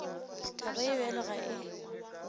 taba ye bjalo ga e